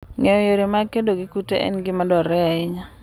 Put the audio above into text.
Ng'eyo yore mag kedo gi kute en gima dwarore ahinya.